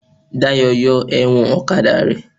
Dayọ̀ yọ ẹ̀wọ̀n ọ̀kadà rẹ̀